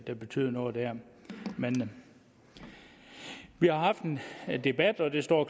der betyder noget der men vi har haft en debat og det står